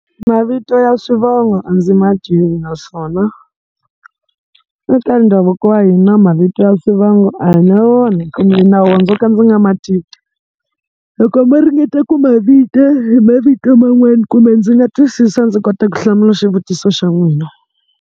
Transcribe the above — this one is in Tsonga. Mavito ya swivongo a ndzi ma tivi, naswona eka ndhavuko wa hina mavito ya swivongo a hi na wona kumbe hi na wona ndzo ka ndzi nga ma tivi. Loko mo ringete ku ma vita hi mavito man'wani kumbe ndzi nga twisisa ndzi kota ku hlamula xivutiso xa n'wina.